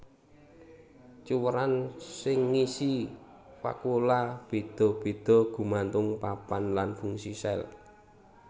Cuwèran sing ngisi vakuola béda béda gumantung papan lan fungsi sel